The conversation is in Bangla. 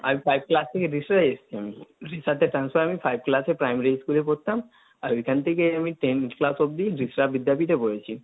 আমি ফাইভ ক্লাস থেকে রিষড়া এসছি আমি, transfer হয়ে আমি five class এ primary school এ পরতাম, ঐখান থেকে আমি ten class অব্দি রিষড়া বিদ্যাপীঠে পড়েছি।